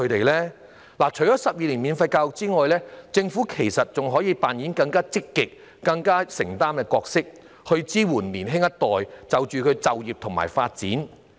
除了提供12年免費教育外，其實政府可以扮演更積極、更具承擔的角色，支援年輕一代就業和發展。